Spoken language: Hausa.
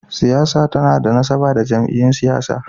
Siyasa tana da nasaba da jam’iyyun siyasa.